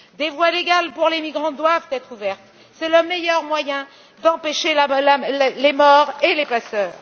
Des voies légales pour les migrants doivent être ouvertes, c'est le meilleur moyen d'empêcher les morts et les passeurs.